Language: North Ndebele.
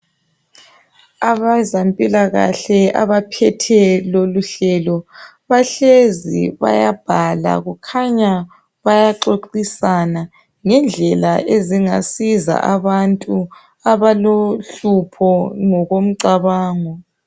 abezempilakahle abaphethe loluhlelo bahlezi bayabhala kukhanya bayaxoxisana ngendlela ezingasiza abantu abalohlupho ngokomcabango